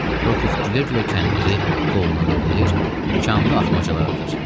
Rokov gülə-gülə kəndili qoluna dolayır, tikanlı atmacalar atır.